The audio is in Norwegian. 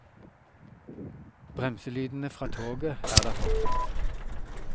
Bremselydene fra toget er der fortsatt.